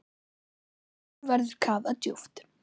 Nú verður kafað djúpt.